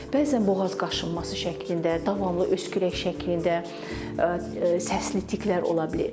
Bəzən boğaz qaşınması şəklində, davamlı öskürək şəklində səsli tiklər ola bilir.